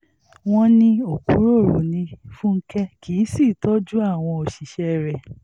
wọ́n ní òkúròrò ní fúnkẹ́ kì í sì í tọ́jú àwọn òṣìṣẹ́ rẹ̀